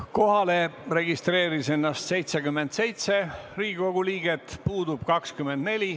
Kohalolijaks registreeris ennast 77 Riigikogu liiget, puudub 24.